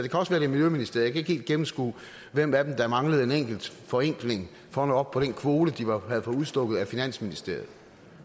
er miljøministeren jeg kan ikke helt gennemskue hvem af dem der manglede en enkelt forenkling for at nå op på den kvote de havde fået udstukket af finansministeriet